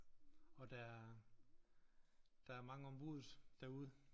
Og der er der er mange om buddet derude